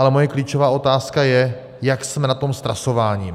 Ale moje klíčová otázka je, jak jsme na tom s trasováním.